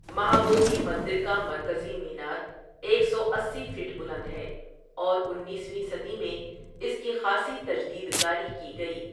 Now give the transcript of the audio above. مہا بودھی مندر کا مرکزی مینار ایک سو اسی فٹ بلند ہے اور انیس ویں صدی میں اس کی خآصی تجدید کاری کی گئی۔